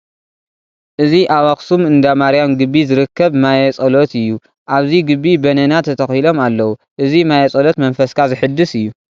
እዚ ኣብ ኣኽሱም እንዳማርያም ግቢ ዝርከብ ማየ ፀሎት እዩ፡፡ ኣብዚ ግቢ በነና ተተኺሎም ኣለዉ፡፡ እዚ ማየ ፀሎት መንፈስካ ዘሕድስ እዩ፡፡